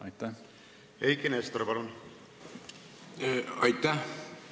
Aitäh!